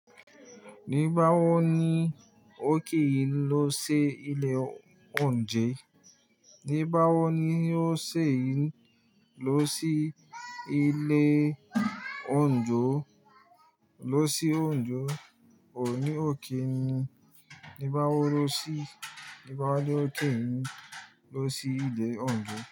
Ní báwo ni ó kì í lọ sí ilé oúnjẹ, ní báwo ni ó ṣe é lọ sí ilé oúnjo? Lọ sí oúnjo, òní ò kí ni. Ní báwo lọ sí, ní báwo ló tì n lọ sí ilé oúnjo.